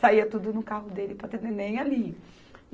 Saía tudo no carro dele para ter neném ali.